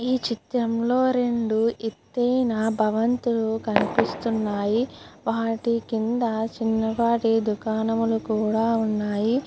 ఈ చిత్రంలో రెండు ఎత్తైన భవంతులు కనిపిస్తున్నాయి. వాటి కింద చిన్నపాటి దుకాణములు కూడా ఉన్నాయి.